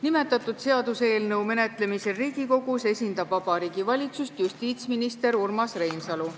Nimetatud seaduseelnõu menetlemisel Riigikogus esindab Vabariigi Valitsust justiitsminister Urmas Reinsalu.